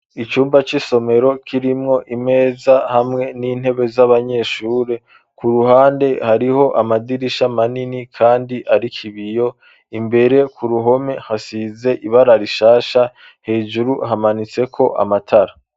Icumba c'isomero kirimwo imeza hamwe n'intebe z'abanyeshuri ku ruhande hariho amadirisha manini kandi ariko ibiyo, imbere ku ruhome hasize ibara rishasha hejuru hamanitse ko amatara.